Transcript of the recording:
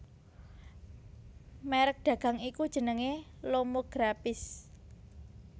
Merek dagang iku jenenge Lomographische